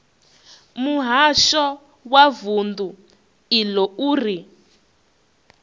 muhasho wa vundu iḽo uri